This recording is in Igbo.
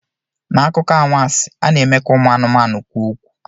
N'akụkọ anwansi, a na-eme ka ụmụ anụmanụ kwuo okwu.